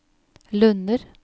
Lunner